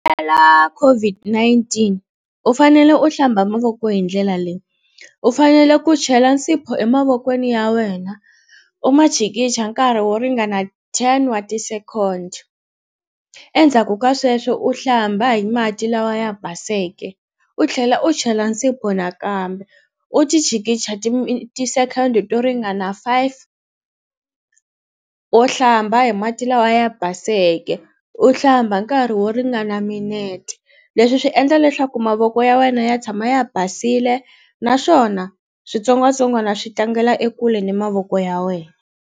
COVID-19 u fanele u hlamba mavoko hi ndlela leyi u fanele ku chela nsipho emavokweni ya wena u ma chikicha nkarhi wo ringana ten wa ti-second endzhaku ka sweswo u hlamba hi mati lawa ya baseke u tlhela u chela nsipho nakambe u ti chikicha ti-second to ringana five u hlamba hi mati lawa ya baseke u hlamba nkarhi wo ringana minete leswi swi endla leswaku mavoko ya wena ya tshama ya basile naswona switsongwatsongwana swi tlangela ekule ni mavoko ya wena.